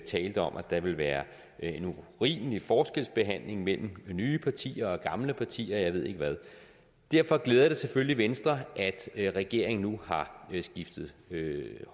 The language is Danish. talte om at der ville være en urimelig forskelsbehandling mellem nye partier og gamle partier og jeg ved ikke hvad derfor glæder det selvfølgelig venstre at regeringen nu har skiftet